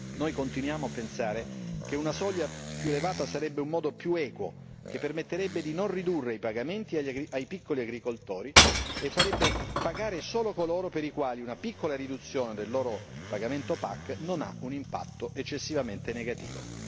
Noi continuiamo a pensare che una soglia più elevata sarebbe un modo più equo, che permetterebbe di non ridurre i pagamenti ai piccoli agricoltori, e farebbe pagare solo coloro per i quali una piccola riduzione del loro pagamento PAC non ha un impatto eccessivamente negativo.